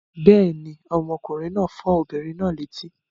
Bẹ́ẹ̀ ni, ọmọkùnrin náà fọ́ obìnrin náà létí.